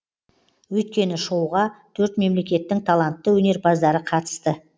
өйткені шоуға төрт мемлекеттің талантты өнерпаздары қатысты